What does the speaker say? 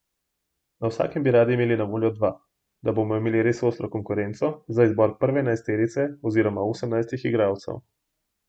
Na vsakem bi radi imeli na voljo dva, da bomo imeli res ostro konkurenco za izbor prve enajsterice oziroma osemnajstih igralcev.